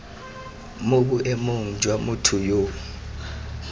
mo boemong jwa motho yo